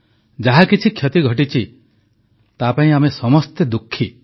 ଯାହାକିଛି କ୍ଷତି ଘଟିଛି ତାପାଇଁ ଆମେ ସମସ୍ତେ ଦୁଃଖୀ